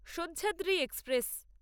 Sahyadri express